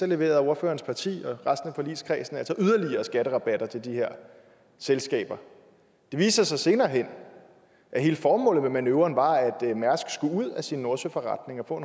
leverede ordførerens parti og resten af forligskredsen altså yderligere skatterabatter til de her selskaber det viste sig så senere hen at hele formålet med manøvren var at mærsk skulle ud af sin nordsøforretning og